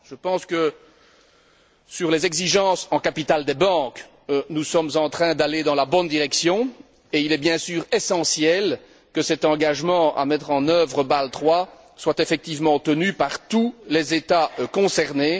Je pense que sur les exigences en capital des banques, nous sommes en train d'aller dans la bonne direction, et il est bien sûr essentiel que cet engagement à mettre en œuvre Bâle III soit effectivement tenu par tous les États concernés.